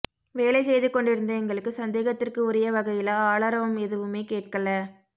வேலை செய்து கொண்டிருந்த எங்களுக்கு சந்தேகத்திற்கு உரிய வகையில ஆளரவம் எதுவுமே கேட்கேல்ல